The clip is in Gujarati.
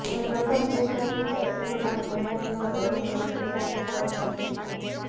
તમે પ્રથમ ચેષ્ટાથી જ અસુરો ના નેવ નગરોને એકી સાથે ભષ્મ કરી દીધાં